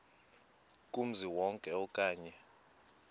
kumzi wonke okanye